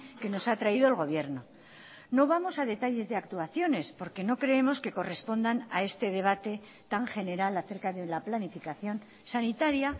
que nos ha traído el gobierno no vamos a detalles de actuaciones porque no creemos que correspondan a este debate tan general acerca de la planificación sanitaria